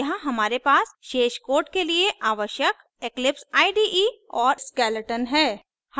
यहाँ हमारे पास शेष code के लिए आवश्यक eclipse ide और skeleton है